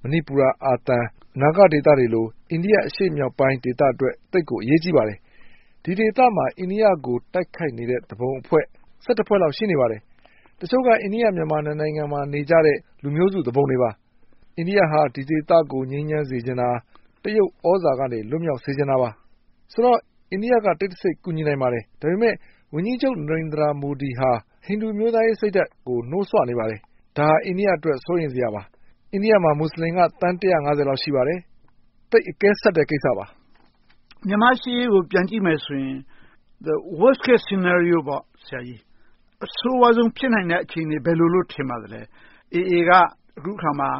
မဏိပူရ၊ အာသံ၊ နာဂဒေသတွေလို အိန္ဒိယအရှေ့မြောက်ပိုင်း ဒေသအတွက် သိပ်ကိုအရေးကြီးပါတယ်။ ဒီဒေသမှာ အိန္ဒိယကို တိုက်ခိုက်နေတဲ့ သူပုန်အဖွဲ့၊ ` ဖွဲ့လောက် ရှိနေပါတယ်။ တချို့က အိန္ဒိယ-မြန်မာ နှစ်နိုင်ငံမှာ နေကြတဲ့ လူမျိုးစုသူပုန်တွေပါ။ အိန္ဒိယ ဒီဒေသကို ငြိမ်းချမ်းစေချင်တာ.တရုတ်သြဇာလက်အောက်ကနေ လွတ်မြောက်စေချင်တာပါ။ ဆိုတော့ အိန္ဒိယက တိတ်တဆိတ် ကူညီနိုင်ပါတယ်။ ဒါပေမဲ့ ဝန်ကြီးချုပ် နရသိန် မူဒီဟာ ဟိန္ဒူအမျိုးသားရေးစိတ်ဓါတ်ကို နှိုးစွနေပါတယ်။ ဒါဟာ အိန္ဒိယအတွက် စိုးရိမ်စရာပါ။ အိန္ဒိယမှာ မူစလင်က သန်း ကျော်လောက် ရှိပါတယ်။ သိပ်အကဲဆတ်တဲ့ ကိစ္စပါ။ မြန်မာ့ရှေ့ရေးကို ပြန်ကြည့်မယ်ဆိုရင် အဆိုးဝါးဆုံး ဖြစ်နိုင်မယ့် အခြေအနေက ဘယ်လိုလုပ်လို့ ထင်ပါသလဲ။ အေအေ က အခုအခါမှာ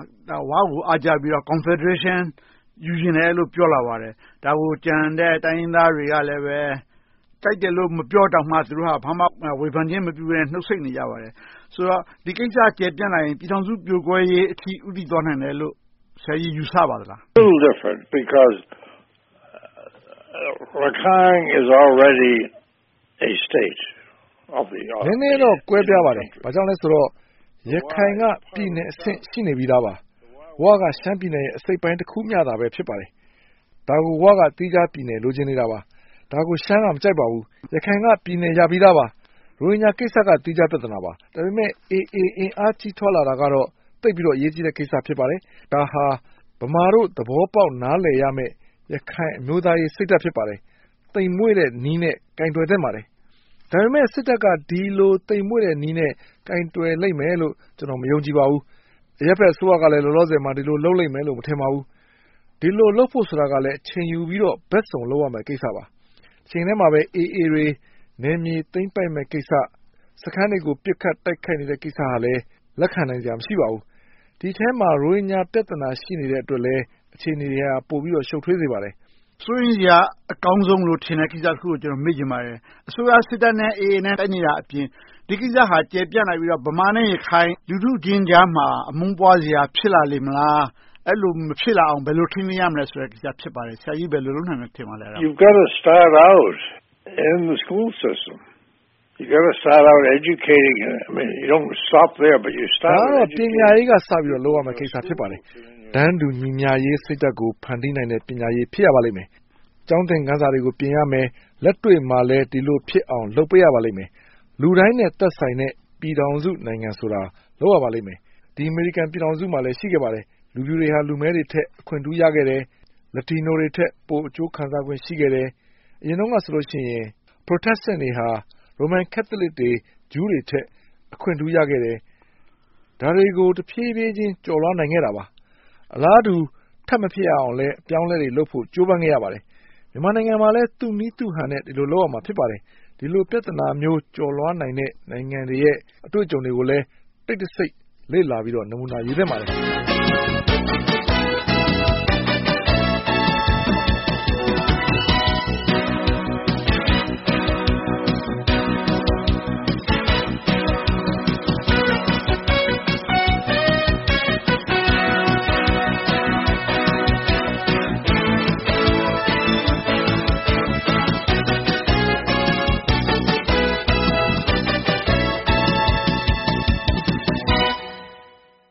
ဝကို အားကျပြီးတော့ ကွန်ဖယ်ဒရေးရှင်း ယူချင်တယ်လို့ ပြောလာပါတယ်။ ဒါကို ကျန်တဲ့တိုင်းရင်းသားတွေကလည်း ကြိုက်တယ်လို့ မပြောတောင်မှ ဘာမှဝေဖန်ခြင်း မပြုဘဲနဲ့ နှုတ်ဆိတ်နေကြပါတယ်။ ဆိုတော့ ဒီကိစ္စ ကျယ်ပြန့်လာရင် ပြည်ထောင်စုပြိုကွဲရေးအထိ ဦးတည်သွားနိုင်မယ်လို့ ဆရာကြီး ယူဆပါသလား။ နည်းနည်းတော့ ကွဲပြားပါတယ်။ ဘာကြောင့်လဲဆိုတော့ ရခိုင်က ပြည်နယ်အဆင့် ရှိနေပြီသာပါ။ ဝ က ရှမ်းပြည်နယ်ရဲ့ အစိတ်အပိုင်းတခုမျှသာ ဖြစ်ပါတယ်။ ဒါက ဝ က သီးခြားပြည်နယ် လိုချင်နေတာပါ။ ဒါကို ရှမ်းက မကြိုက်ပါဘူး။ ရခိုင်က ပြည်နယ်ရပြီးသာပါ။ ရိုဟင်ဂျာကိစ္စက သီးခြားပြဿနာပါ။ ဒါပေမဲ အေအေ အင်အားကြီးထွားလာတာကတော့ သိပ်ပြီးတော့ အရေးကြီးတဲ့ ကိစ္စ ဖြစ်ပါတယ်။ ဒါဟာ ဗမာတို့ သဘောပေါက် နားလည်ရမယ့် ရခိုင်အမျိုးသားရေးစိတ်ဓါတ် ဖြစ်ပါတယ်။ သိမ်မွှေ့တဲ့နည်းနဲ့ ကိုင်တွယ်သင့်ပါတယ်။ ဒါပေမဲ့ စစ်တပ်က ဒီလိုသိမ်မွှေ့တဲ့နည်းနဲ့ ကိုင်တွယ်လိမ့်မယ်လို့ ကျနော် မယုံကြည်ပါဘူး။ အရပ်ဘက်အစိုးရကလည်း လောလောဆယ်မှာ ဒီလိုလုပ်လိမ့်မယ်လို့ မထင်ပါဘူး။ ဒီလိုလုပ်ဖို့ဆိုတာကလဲ အချိန်ယူပြီးတော့ ဘက်စုံလုပ်ရမယ့် ကိစ္စပါ။ တချိန်တည်းမှာပဲ အေအေတွေ နယ်မြေသိမ်းပိုက်မယ့်ကိစ္စ။ စခန်းတွေကို ပစ်ခတ်တိုက်ခိုက်နေတဲ့ကိစ္စတွေကိုလည်း လက်ခံနိုင်စရာ မရှိပါဘူး။ ဒီအထဲမှာ ရိုဟင်ဂျာပြဿနာ ရှိနေတဲ့အတွက်လဲ အခြေအနေတွေက ပိုပြီးတော့ ရှုပ်ထွေးစရာ ဖြစ်နေပါတယ်။ စိုးရိမ်စရာ အကောင်းဆုံးလို့ထင်တဲ့ ကိစ္စတခုကို ကျနော် မေးချင်ပါတယ်။ အစိုးရစစ်တပ်နဲ့ အေအေတို့ တိုက်နေတာအပြင် ဒီကိစ္စဟာ ကျယ်ပြန့်လာပြီးတော့ ဗမာနဲ့ ရခိုင် လူထုချင်းကြားမှာ အမုန်းပွားစရာ ဖြစ်လာလေမလား။ အဲဒီလို မဖြစ်လာနိုင်အောင် ဘယ်လို ထိန်းသိမ်းရမလဲဆိုတဲ့ ကိစ္စ ဖြစ်ပါတယ်။ ဆရာကြီး ဘယ်လို လုပ်နိုင်မယ် ထင်ပါသလဲ။ ဒါကတော့ ပညာရေးက စပြီးတော့ လုပ်ရမယ့်ကိစ္စ ဖြစ်ပါတယ်။ တန်းတူညီမျှရေး စိတ်ဓါတ်ကို ဖန်တီးနိုင်တဲ့ ပညာရေး ဖြစ်ရပါမယ်။ ကျောင်းသင်ခန်းစာတွေကို ပြင်ရမယ်။ လက်တွေ့မှာလည်း ဒီလိုဖြစ်အောင် လုပ်ပေးရပါမယ်။ လူတိုင်းနဲ့ သက်ဆိုင်တဲ့ ပြည်ထောင်စုနိုင်ငံဆိုတာကို လုပ်ရပါမယ်။ ဒီ အမေရိကန်ပြည်ထောင်စုမှာလည်း ရှိခဲ့ပါတယ်။ လူဖြူတွေဟာ လူမဲတွေထက် အခွင့်ထူးရခဲ့တယ်။ လက်တီနိုတွေထက် ပိုအကျိုးခံစားခွင့် ရှိခဲ့တယ်။ အရင်တုန်းကဆိုရင် Protestants တွေက ရိုမန်ကတ်သလစ်တွေ၊ ဂျူးတွေထက် အခွင့်ထူးရခဲ့တယ်။ ဒါတွေကို တဖြည်းဖြည်းချင်း ကျော်လွှာနိုင်ခဲ့တာပါ။ အလားတူ ထပ်မဖြစ်အောင်လဲ အပြောင်းအလဲတွေလုပ်ဖို့ ကြိုးပမ်းခဲ့ရပါတယ်။ မြန်မာနိုင်ငံမှာလည်း သူ့နည်းသူ့ဟန်နဲ့ ဒီလိုလုပ်ရမှာ ဖြစ်ပါတယ်။ ဒီလိုပြဿနာမျိုး ကျော်လွှားနိုင်တဲ့ နိုင်ငံတွေရဲ့ အတွေ့အကြုံတွေကိုလည်း တိတ်တဆိတ် လေ့လာပြီးတော့ နမူနာယူသင့်ပါတယ်။